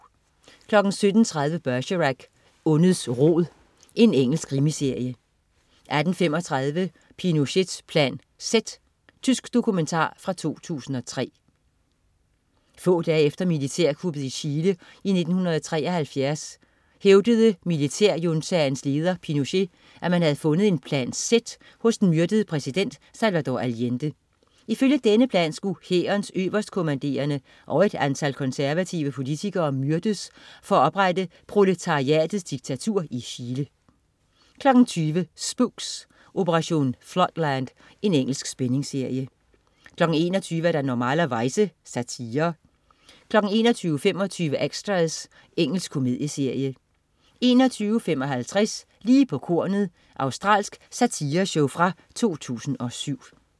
17.30 Bergerac: Ondets rod. Engelsk krimiserie 18.35 Pinochets Plan Z. Tysk dokumentar fra 2003. Få dage efter militærkuppet i Chile 1973 hævdede militærjuntaens leder, Pinochet, at man havde fundet en Plan Z hos den myrdede præsident Salvador Allende. Ifølge denne plan skulle hærens øverstkommanderende og et antal konservative politikere myrdes for at oprette proletariatets diktatur i Chile 20.00 Spooks: Operation Floodland. Engelsk spændingsserie 21.00 Normalerweize. Satire 21.25 Extras. Engelsk komedieserie 21.55 Lige på kornet. Australsk satireshow fra 2007